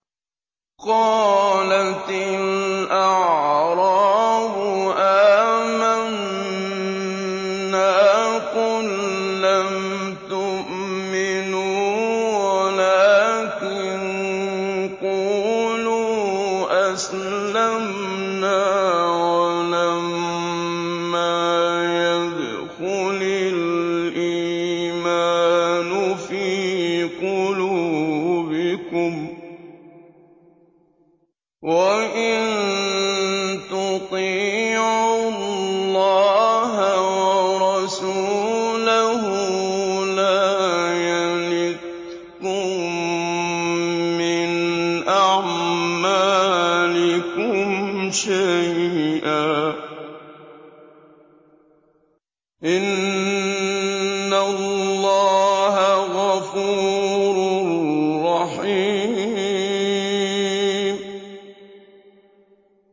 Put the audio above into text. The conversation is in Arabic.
۞ قَالَتِ الْأَعْرَابُ آمَنَّا ۖ قُل لَّمْ تُؤْمِنُوا وَلَٰكِن قُولُوا أَسْلَمْنَا وَلَمَّا يَدْخُلِ الْإِيمَانُ فِي قُلُوبِكُمْ ۖ وَإِن تُطِيعُوا اللَّهَ وَرَسُولَهُ لَا يَلِتْكُم مِّنْ أَعْمَالِكُمْ شَيْئًا ۚ إِنَّ اللَّهَ غَفُورٌ رَّحِيمٌ